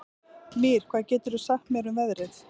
Mír, hvað geturðu sagt mér um veðrið?